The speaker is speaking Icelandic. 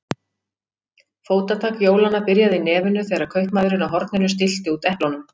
Fótatak jólanna byrjaði í nefinu þegar kaupmaðurinn á horninu stillti út eplunum.